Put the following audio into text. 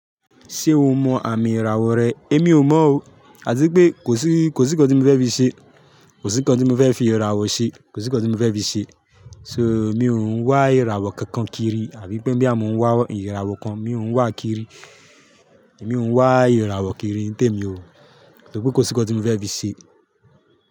Ṣé o mọ àmì ìràwọ̀ rẹ? Émi ò mọ̀ o, àti pé kò sí, kò sí nǹkan tí mo fẹ́ fi ṣe. Kò sí nǹkan tí mo fẹ́ fi ìràwọ̀ ṣe. Kò sí nǹkan tí mo fẹ́ fi ṣe. So mi ò ń wá ìràwọ̀ kankan kiri àbí pé bí àmo ń wá ìràwọ̀ kan, mi ò ń wá kiri. Èmi ò ń wá ìràwọ̀ kiri nítè èmi o, nítorí pé kò sí nǹkan tí mo fẹ́ fi ṣe.